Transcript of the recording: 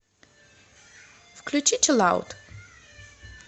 включи чилаут